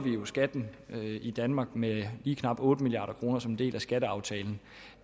skatten i danmark med lige knap otte milliard kroner som en del af skatteaftalen